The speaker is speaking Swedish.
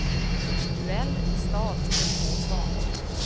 Duell i stad under två fanor.